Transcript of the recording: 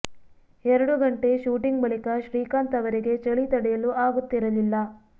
ಎರಡು ಗಂಟೆ ಶೂಟಿಂಗ್ ಬಳಿಕ ಶ್ರೀಕಾಂತ್ ಅವರಿಗೆ ಚಳಿ ತಡೆಯಲು ಆಗುತ್ತಿರಲಿಲ್ಲ